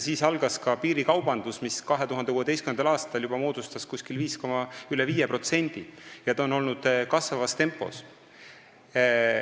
Siis algas ka piirikaubandus, mis moodustas 2016. aastal juba üle 5% ja on edasi läinud kasvavas tempos.